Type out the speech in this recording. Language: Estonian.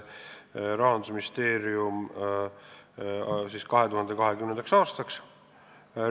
Rahandusministeerium planeerib 2020. aastaks täiendavaid rahalisi vahendeid.